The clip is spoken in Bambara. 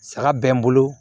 Saga bɛ n bolo